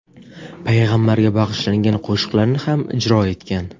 payg‘ambarga bag‘ishlangan qo‘shiqlarni ham ijro etgan.